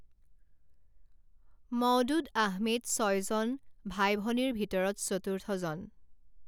মওদুদ আহমেদ ছয়জন ভাই ভনীৰ ভিতৰত চতুৰ্থজন।